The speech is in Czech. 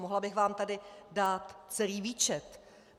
Mohla bych vám tady dát celý výčet.